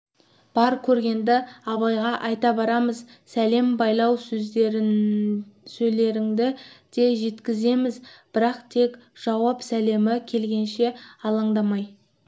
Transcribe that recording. бар көргенді абайға айта барамыз сәлем байлау сөздеріңді де жеткіземіз бірақ тек жауап сәлемі келгенше алаңдамай